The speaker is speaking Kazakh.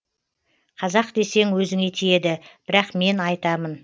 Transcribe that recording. қазақ десең өзіңе тиеді бірақ мен айтамын